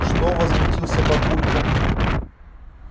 что возмутился папулька